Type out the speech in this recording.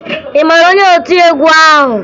Ị mara maka otiegwu ahụ?